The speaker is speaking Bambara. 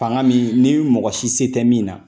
Fanga min nii mɔgɔ si se tɛ min na